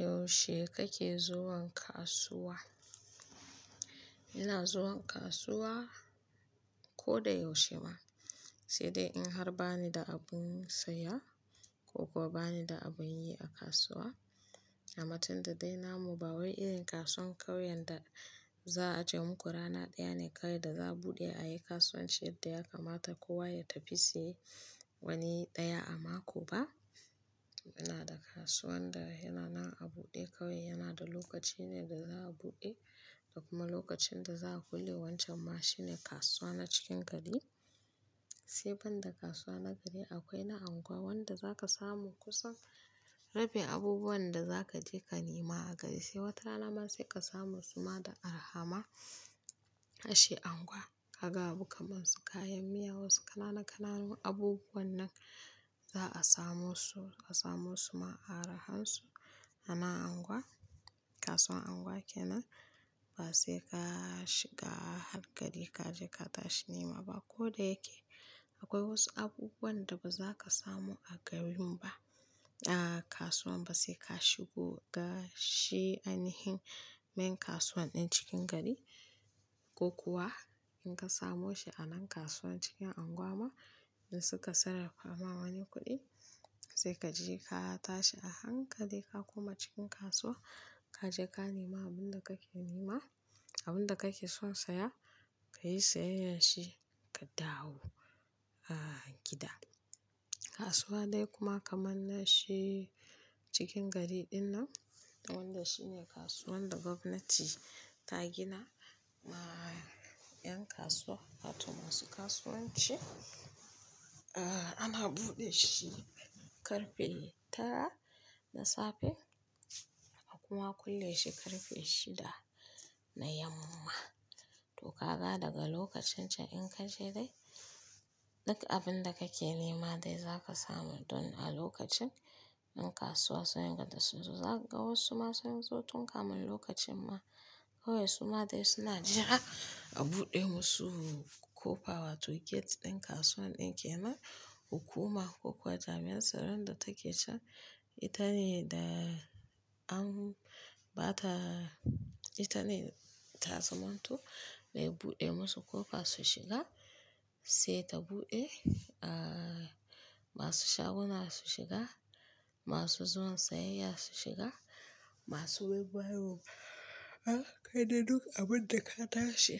Yaushe kake zuwan kasuwa? Ina zuwan kasuwa ko da yaushe ma, sai dai in har ba ni da abin saya ko kuwa ba ni da abin yi a kasuwa. Amma tunda dai namu ba wai irin kasuwar ƙauye da za a je muku rana ɗaya ne kawai da za a buɗe ayi kasuwancin yadda ya kamata kowa ya tafi siye wani ɗaya a mako ba. Muna da kasuwan da yananan a buɗe kawai yana da lokaci ne da za a buɗe da kuma lokacin da za a kulle wancan ma shine kasuwa na cikin gari. Sai ban da kasuwa na gari akwai na unguwa wanda za ka samu kusan rabin abubuwan da za ka je ka nema a gari sai wata rana ma sai ka samu su ma da arha ma. Harshe unguwa ka ga abubuwa kamar su kayan miya wasu kanana-kananu abubuwan nan za a samo su, a samo su ma a arha su a nan unguwa. Kasuwan unguwa kenan ba sai ka shiga har gari ka je ka tashi nema ba ko da yake akwai wasu abubuwan da ba za ka samu a garin ba a kasuwan ba sai ka shigo ga shi ai nihin main kasuwan ɗin cikin gari ko kuwa in ka samu shi a nan kasuwan cikin unguwa ma in suka sarrafa ma wani kuɗi sai ka je ka tashi a hankali ka koma cikin kasuwa ka je ka nema abin da kake nema abin da kake son saya ka yi sayayyar shi ka dawo, ah, gida. Kasuwa dai kuma kamar na shi cikin gari ɗinnan wanda shine kasuwan da gwamnati ta gina, ah, 'yan kasuwa wato ma su kasuwanci, ah, ana buɗe shi ƙarfe tara na safe a kuma kulle shi ƙarfe shida na yamma. To kaga daga lokacin ce in ka je dai duk abin da kake nema dai za ka samu don a lokacin ƴa kasuwa su rigada su zo za ka ga wasu ma sun zo tun kafin lokacin ma kawai su ma dai suna jira a buɗe musu kofa wato gate ɗin kasuwan ɗin kenan hukuma ko kuwa jami'an tsaro da take can ita ne da an ba ta ita ne tazaman to mai buɗe musu kofa su shiga sai ta buɗe, ah, masu shaguna su shiga, masu zuwan sayayya su shiga masu baibayarwan, ah, kai dai duk abin da ka tashi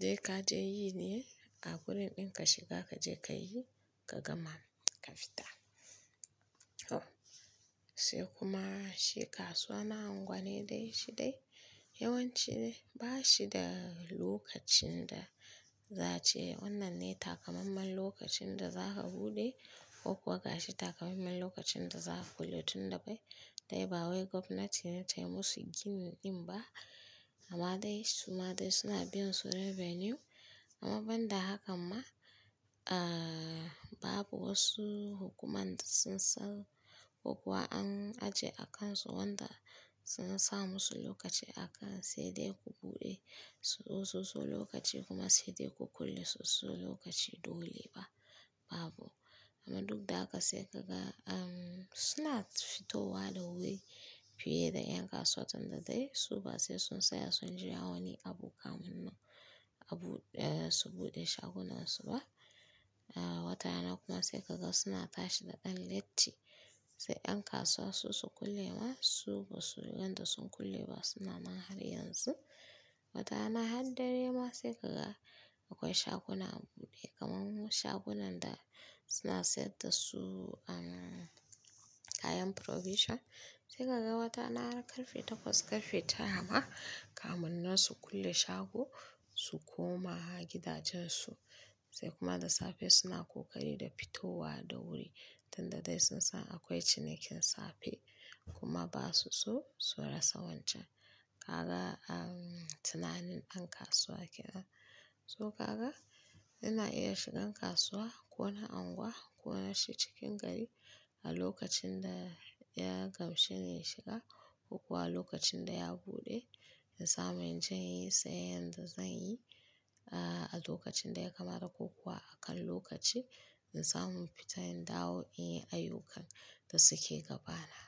dai ka je yi ne a wurin ɗin ka shiga ka je ka yi ka gama ka fita. To, sai kuma shi kasuwa na unguwanni dai shi dai yawanci dai ba shi da lokacin da za ce wannan ne ta kamammen lokacin da za ka buɗe ko kuwa ga shi ta kamammen lokacin da za a kulle tun da bai dai ba wai gwamnati ne ta yi musu gini ɗin ba amma dai su ma dai suna bin su revenue amma banda haka ma, ah, babu wasu hukuma da sun sa ko kuwa an ajiye akan su wanda sun sa musu lokaci aka sai dai ko buɗe su sosai lokaci kuma sai dai ko kulesu sosai lokaci dole ba babu. Amma duk da haka sai kaga, um, suna fitowa da wuri fiye da 'yan kasuwan tunda dai su ba sai sun saya sun jira wani abu kamar nan abu, eh, su buɗe shagunan su ba. Ah, wata rana kuma sai kaga suna tashi da ɗan leti sai 'yan kasuwa su su kule ma su ba su yanda sun kule ba suna ma har yanzu. Wata rana har dare ma sai kaga akwai shaguna a buɗe kamar mu shagunan da suna saida su, um, kayan provision sai kaga wata rana har ƙarfe takwas ƙarfe tara ma kamun nan su kule shago su koma gidajen su sai kuma da safe suna ƙoƙari da fitowa da wuri tunda dai sun san akwai cinikin safe kuma ba su so su rasa wancan. Kaga, um, tunanin ɗan kasuwa kenan. To kaga ina iya shigan kasuwa ko na unguwa ko na shi cikin gari a lokacin da ya gamshe ni na shiga ko kuwa a lokacin da ya buɗe in samu in je in yi sayan da zan yi, ah, a lokacin da ya kamata ko kuwa akan lokaci in samu fita in dawo in yi ayyukan da suke gabana.